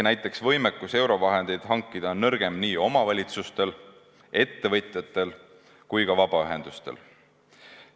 Näiteks, võimekus eurovahendeid hankida on nõrgem nii omavalitsustel, ettevõtjatel kui ka vabaühendustel.